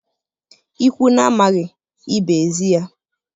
Ikwu na-amaghị, ibe ezi ya